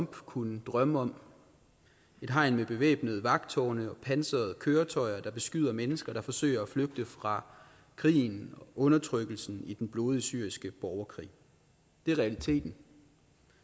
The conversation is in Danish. kunne drømme om et hegn med bevæbnede vagttårne og pansrede køretøjer der beskyder mennesker som forsøger at flygte fra krigen og undertrykkelsen i den blodige syriske borgerkrig det er realiteten